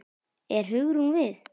Er Hugrún við?